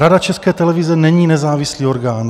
Rada České televize není nezávislý orgán.